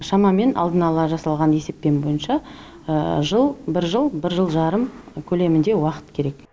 шамамен алдын ала жасалған есеппен бойынша жыл бір жыл бір жыл жарым көлемінде уақыт керек